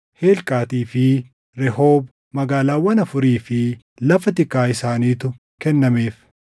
Helqaatii fi Rehoob, magaalaawwan afurii fi lafa tikaa isaaniitu kennameef;